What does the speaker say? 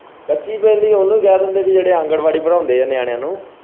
ਕੱਚੀ ਪਹਿਲੀ ਉਹਨੂੰ ਕਹਿ ਦਿੰਦੇ ਹੈ ਕਿ ਜਿਹੜੇ ਆਂਗਣਵਾੜੀ ਪੜਾਉਂਦੇ ਹੈ ਨਿਆਣਿਆਂ ਨੂੰ।